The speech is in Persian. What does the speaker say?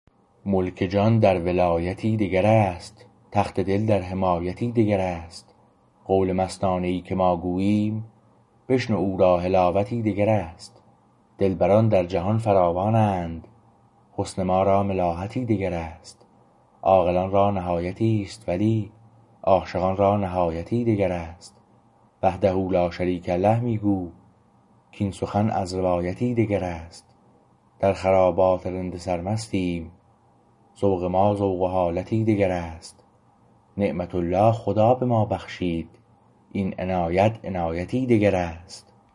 ملک جان در ولایتی دگر است تخت دل در حمایتی دگراست قول مستانه ای که ما گوییم بشنو او را حلاوتی دگر است دلبران در جهان فراوانند حسن ما را ملاحتی دگر است عاقلان را نهایتی است ولی عاشقان را نهایتی دگر است وحده لاشریک له می گو کاین سخن از روایتی دگر است در خرابات رند سرمستیم ذوق ما ذوق و حالتی دگر است نعمت الله خدا به ما بخشید این عنایت عنایتی دگر است